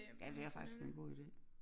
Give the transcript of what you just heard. Ja det er faktisk en god ide